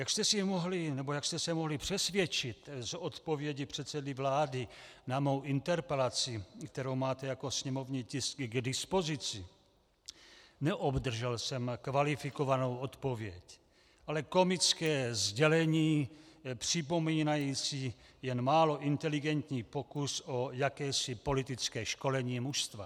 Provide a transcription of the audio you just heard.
Jak jste se mohli přesvědčit z odpovědi předsedy vlády na mou interpelaci, kterou máte jako sněmovní tisky k dispozici, neobdržel jsem kvalifikovanou odpověď, ale komické sdělení připomínající jen málo inteligentní pokus o jakési politické školení mužstva.